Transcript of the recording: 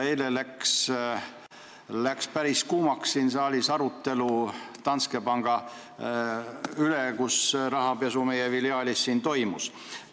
Eile läks siin saalis päris kuumaks arutelu Danske panga üle, mille filiaalis toimus rahapesu.